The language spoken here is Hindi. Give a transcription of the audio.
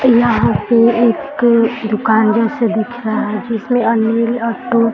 यहाँ पर एक दुकान जैसा दिख रहा है जिसमें आ नीला अ टॉप --